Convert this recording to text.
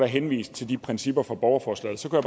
henvist til de principper fra borgerforslaget så kunne